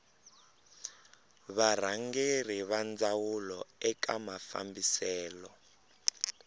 varhangeri va ndhavuko eka mafambiselo